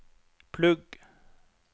plugg